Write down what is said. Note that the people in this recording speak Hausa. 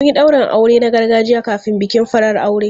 Mun yi daurin aure na gargajiya kafin bikin farar aure.